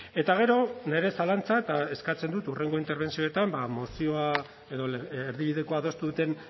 eta gero nire zalantza eta eskatzen dut hurrengo interbentzioetan ba mozioa edo erdibidekoa adostu duten